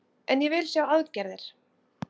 En ég vil sjá aðgerðir